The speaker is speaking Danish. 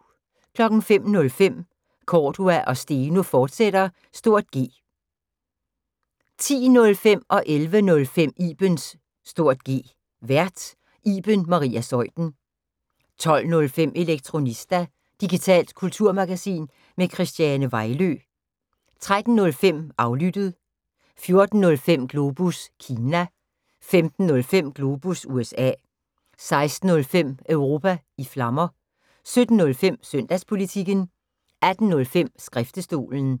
05:05: Cordua & Steno, fortsat (G) 10:05: Ibens (G) Vært: Iben Maria Zeuthen 11:05: Ibens (G) Vært: Iben Maria Zeuthen 12:05: Elektronista – digitalt kulturmagasin med Christiane Vejlø 13:05: Aflyttet 14:05: Globus Kina 15:05: Globus USA 16:05: Europa i Flammer 17:05: Søndagspolitikken 18:05: Skriftestolen